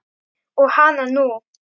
Og hana nú!